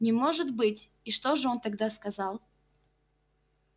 не может быть и что же он тогда сказал